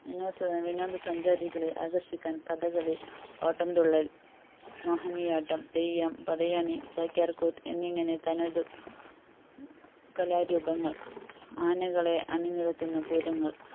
വിനോദ സഞ്ചാരികളെ ആകര്‍ഷിക്കാന്‍ കഥകളി ഓട്ടംതുള്ളല്‍ മോഹിനിയാട്ടം തെയ്യം പടയണി ചാക്യാര്‍കൂത്ത് എന്നിങ്ങനെ തനതു കലാരൂപങ്ങള്‍ ആനകളെ അണി നിരത്തുന്ന പൂരങ്ങള്‍